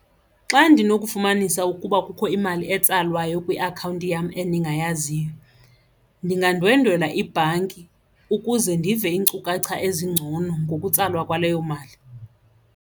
Xa ndinokufumanisa ukuba kukho imali etsalwayo kwiakhawunti yam endingayaziyo ndingandwendwela ibhanki ukuze ndive iinkcukacha ezingcono ngokutsalwa kwaleyo mali.